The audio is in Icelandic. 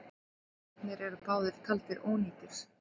Bílarnir eru báðir taldir ónýtir.